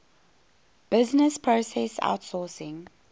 business process outsourcing